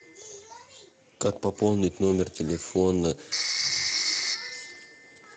как пополнить номер телефона